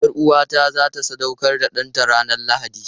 Yar'uwata za ta sadaukar da ɗanta ranar Lahadi.